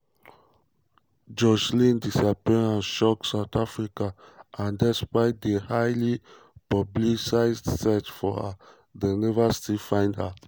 joshlin disappearance shock south africa and despite di highly publicised search for her dem never still find her.